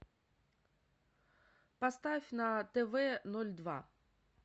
поставь на тв ноль два